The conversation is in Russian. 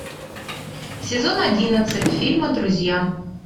сезон одиннадцать фильма друзья